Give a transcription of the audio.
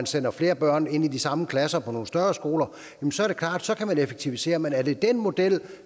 sender flere børn ind i de samme klasser på nogle større skoler så kan man effektivisere men er det den model